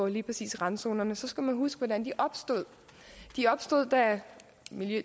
lige præcis randzonerne så skal man huske hvordan de opstod de opstod da